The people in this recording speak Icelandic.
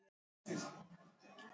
Er þetta ónýt vél?